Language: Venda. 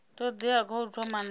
todea kha u thoma na